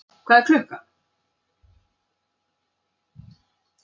Hvað er klukkan?